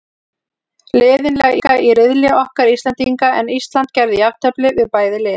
Liðin leika í riðli okkar Íslendinga, en Ísland gerði jafntefli við bæði lið.